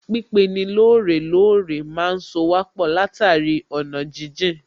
Pípeni lóòrè lóòrè má ń sowà pọ̀ látàrí ọ̀nà jíjìn